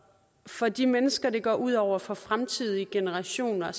for de mennesker det går ud over for fremtidige generationer